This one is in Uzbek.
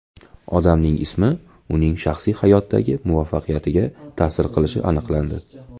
Odamning ismi uning shaxsiy hayotdagi muvaffaqiyatiga ta’sir qilishi aniqlandi.